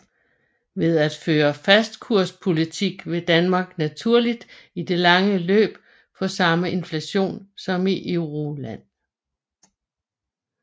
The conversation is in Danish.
Ved at føre fastkurspolitik vil Danmark naturligt i det lange løb få samme inflation som i Euroland